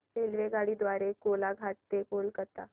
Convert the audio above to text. रेल्वेगाडी द्वारे कोलाघाट ते कोलकता